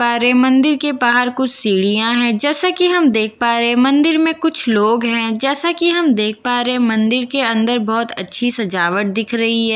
पा रहे हैं मंदिर के पाहर कुछ सीढियां है जैसा कि हम देख पा रहे हैं मंदिर में कुछ लोग है जैसा कि हम देख पा रहे हैं मंदिर के अंदर बहुत अच्छी सजावट दिख रही है ।